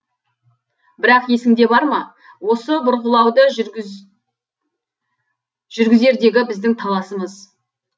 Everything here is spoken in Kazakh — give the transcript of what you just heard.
бірақ есіңде бар ма осы бұрғылауды жүргізердегі біздің таласымыз